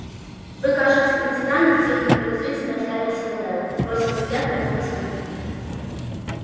вы кажется иностранец техник подозрительно уставился на мэллоу бросил взгляд на его костюм